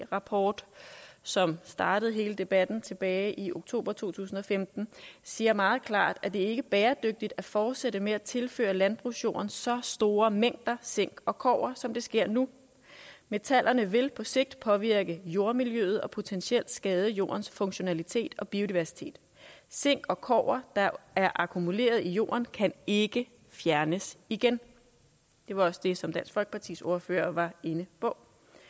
rapport som startede hele debatten tilbage i oktober to tusind og femten siger meget klart at det ikke er bæredygtigt at fortsætte med at tilføre landbrugsjorden så store mængder zink og kobber som det sker nu metallerne vil på sigt påvirke jordmiljøet og potentielt skade jordens funktionalitet og biodiversitet zink og kobber der er akkumuleret i jorden kan ikke fjernes igen det var også det som dansk folkepartis ordfører var inde på